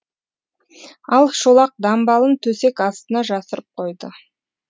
ал шолақ дамбалын төсек астына жасырып қойды